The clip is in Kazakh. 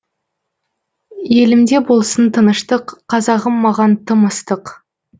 елімде болсын тыныштық қазағым маған тым ыстық